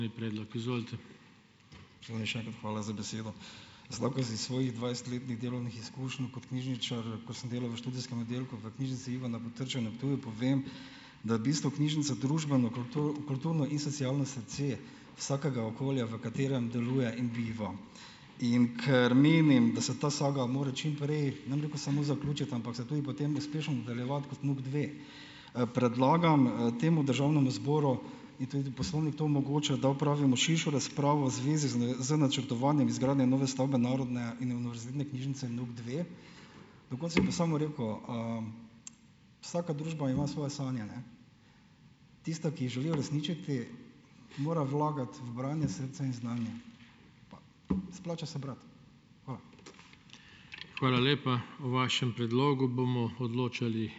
Še enkrat hvala za besedo. Jaz lahko iz svojih dvajsetletnih delovnih izkušenj kot knjižničar, ko sem delal v študijskem oddelku v knjižnici Ivana Potrča na Ptuju povem, da je v bistvu knjižnica družbeno, kulturno in socialno srce vsakega okolja, v katerem deluje in biva. In ker menim, da se ta saga mora čim prej, ne bom rekel samo zaključiti, ampak se tudi potem uspešno nadaljevati kot NUKdve. Predlagam, temu državnemu zboru in tudi poslovnik to omogoča, da opravimo širšo razpravo v zvezi z načrtovanjem izgradnje nove stavbe Narodne in univerzitetne knjižnice NUKdve. Na koncu bom pa samo rekel, Vsaka družba ima svoje sanje, ne. Tista, ki jih želi uresničiti, mora vlagati v branje, srce in znanje. Splača se brati. Hvala.